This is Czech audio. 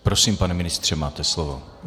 Prosím, pane ministře, máte slovo.